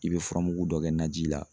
I bɛ furamugu dɔ kɛ na ji la